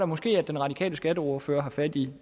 måske at den radikale skatteordfører har fat i